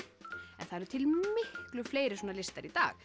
en það eru til miklu fleiri svona listar í dag